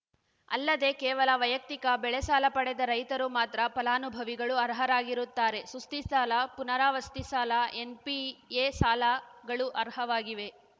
ಅಲ್ಲದೇ ಕೇವಲ ವೈಯಕ್ತಿಕ ಬೆಳೆಸಾಲ ಪಡೆದ ರೈತರು ಮಾತ್ರ ಫಲಾನುಭವಿಗಳು ಅರ್ಹರಾಗಿರುತ್ತಾರೆ ಸುಸ್ತಿಸಾಲ ಪುನರಾವಸ್ತಿ ಸಾಲ ಎನ್‌ಪಿಎ ಸಾಲಗಳು ಅರ್ಹವಾಗಿದೆ